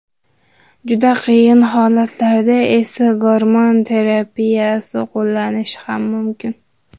Juda qiyin holatlarda esa gormon terapiyasi qo‘llanilishi ham mumkin.